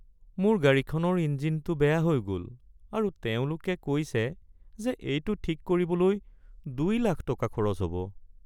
মোৰ গাড়ীখনৰ ইঞ্জিনটো বেয়া হৈ গ’ল আৰু তেওঁলোকে কৈছে যে এইটো ঠিক কৰিবলৈ দুই লাখ টকা খৰচ হ’ব।